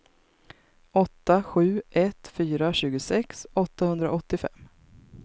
åtta sju ett fyra tjugosex åttahundraåttiofem